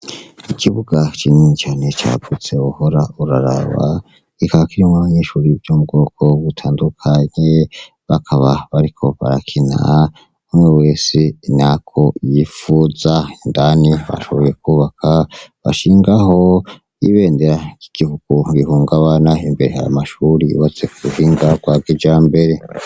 Ikibuga kinini cane cavutse uhora uraraba ikaba kirumwa banishuriye ivyo mu bwoko butandukanye bakaba bariko barakinaa umwe wese nako yifuza indani bashubuye kwubaka bashingaho ibendera kigikuku bihungabana imbere hama mashuri watse kuhinga kwa gija mbere.